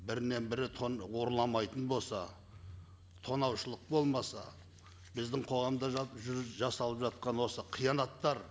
бірінен бірі ұрламайтын болса тонаушылық болмаса біздің қоғамда жасалып жатқан осы қиянаттар